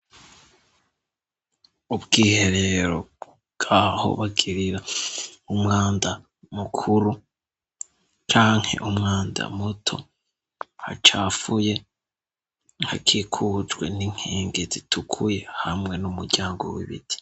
Ubwiherero bwaho bagirira umwanda mukuru canke umwanda muto hacafuye hakikujwe n'inkingi zitukuye hamwe n'umuryango w'ibiti.